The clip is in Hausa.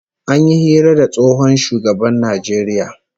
An yi hira da tsohon shugaban Najeriya